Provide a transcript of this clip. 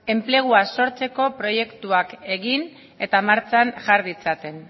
enplegua sortzeko proiektuak egin eta martxan jar ditzaten